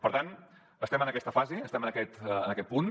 per tant estem en aquesta fase estem en aquest punt